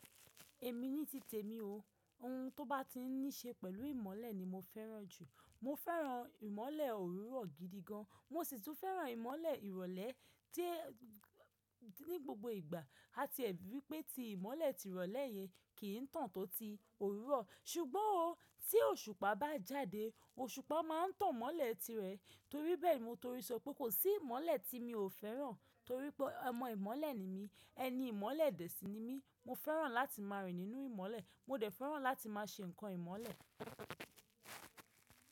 Èmi ní titè mi o. Ohun tó bá ti ní ṣe pẹ̀lú ìmọ̀le ni mo fẹ́ràn jù. Mo fẹ́ràn ìmọ̀le òwúrọ̀ gidi gan. Mo sì tún fẹ́ràn ìmọ̀le ìrọ̀lẹ́ tí, ní gbogbo ìgbà. A ti ríi wípé tí ìmọ̀le tìrọ̀lẹ́ yẹn kì í tàn tó ti òwúrọ̀. Ṣùgbọ́n o, tí òṣùpá bá jáde, òṣùpá má a n tan mọ́le tirẹ̀. Torí bẹ́ẹ̀ ni mo tori sọ pé kò sí ìmọ̀le tí mi ò fẹ́ràn torí pé ọmọ ìmọ̀le ni mí. Ẹni ìmọ̀le dẹ́sìn ni mí. Mo fẹ́ràn láti máa rìn nínú ìmọ̀le. Mo dẹ̀ fẹ́ràn láti máa ṣe nǹkan ìmọ̀le.